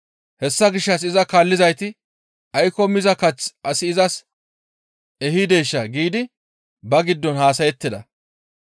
Hessa gishshas iza kaallizayti, «Aykko miza kath asi izas ehideeshaa?» giidi ba giddon haasayettida